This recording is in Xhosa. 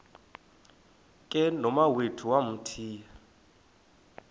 ke nomawethu wamthiya